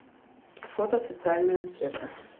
фото социальная аптека